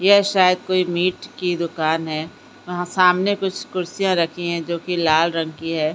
यह शायद कोई मीट की दुकान है वहाँ सामने कुछ कुर्सियाँ रखी हैं जो की लाल रंग की है ।